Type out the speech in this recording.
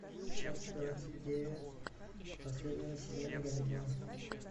часть двадцать девять последнего сезона ганнибал